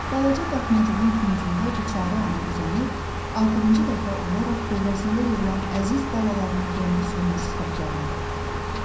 Balaca daxmacığın küncündə biçarə ana uzanıb, axırıncı dəfə olaraq dövrəsində yığılan əziz balalarının rəngi solmuş sifətlərinə baxırdı.